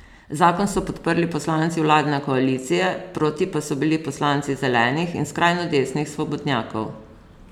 Zakon so podprli poslanci vladne koalicije, proti pa so bili poslanci Zelenih in skrajno desnih Svobodnjakov.